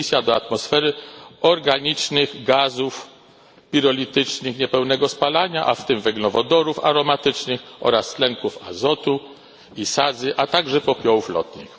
emisja do atmosfery organicznych gazów pirolitycznych niepełnego spalania, a w tym węglowodorów aromatycznych oraz tlenków azotu i sadzy, a także popiołów lotnych.